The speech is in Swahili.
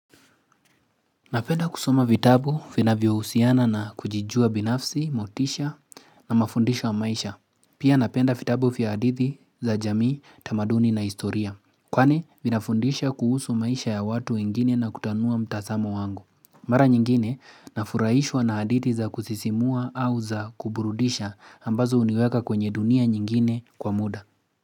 Napenda kusoma vitabu finavyo usiana na kujijua binafsi, motisha na mafundishwa maisha. Pia napenda vitabu fia hadithi za jamii, tamaduni na historia. Kwani vinafundisha kuhusu maisha ya watu wengine na kutanua mtasamo wangu. Mara nyingine na furaishwa na hadithi za kusisimua au za kuburudisha ambazo uniweka kwenye dunia nyingine kwa muda.